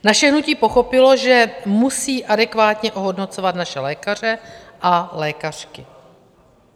Naše hnutí pochopilo, že musí adekvátně ohodnocovat naše lékaře a lékařky.